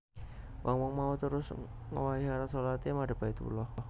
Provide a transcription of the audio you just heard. Wong wong mau terus ngowahi arah shalaté madhep Baitullah